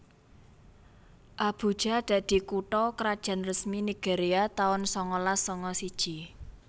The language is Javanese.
Abuja dadi kutha krajan resmi Nigeria taun sangalas sanga siji